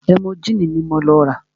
Ẹ́múgìlì ní mo lọ rà.